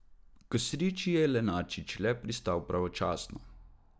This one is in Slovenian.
K sreči je Lenarčič le pristal pravočasno.